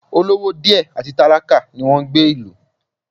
Olówó díẹ̀ àti tálákà ni wọn ń gbé ìlú